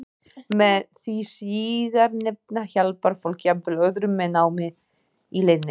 Með því síðarnefnda hjálpar fólk jafnvel öðrum með námið í leiðinni.